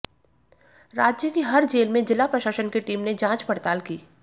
राज्य की हर जेल में जिला प्रशासन की टीम ने जांच पड़ताल की